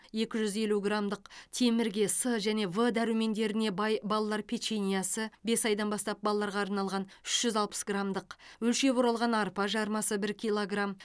екі жүз елу граммдық темірге с және в дәрумендеріне бай балалар печеньесі бес айдан бастап балаларға арналған үш жүз алпыс граммдық өлшеп оралған арпа жармасы бір килограмм